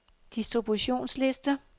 distributionsliste